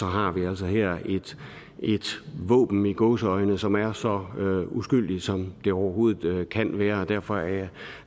har vi altså her et våben i gåseøjne som er så uskyldigt som det overhovedet kan være og derfor er